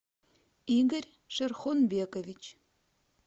игорь шерхонбекович